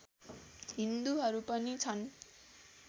हिन्दुहरू पनि छन्